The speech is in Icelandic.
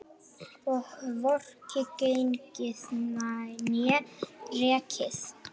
Og hvorki gengið né rekið.